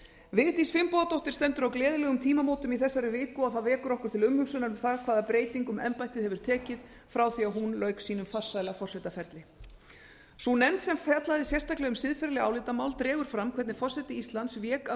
vigdís finnbogadóttir stendur á gleðilegum tímamótum í þessari viku og það vekur okkur til umhugsunar um það hvaða breytingum embættið hefur tekið frá því að hún lauk sínum farsæla forsetaferli sú nefnd sem fjallaði sérstaklega um siðferðileg álitamál dregur fram hvernig forseti íslands vék af